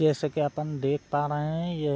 जैसा की अपन देख पा रहे है ये --